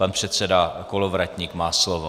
Pan předseda Kolovratník má slovo.